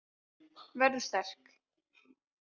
Verður sterk.